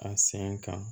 A sɛgɛn kan